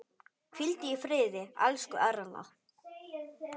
Hvíldu í friði, elsku Erla.